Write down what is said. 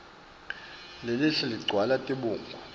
lelihle ligcwala tibungu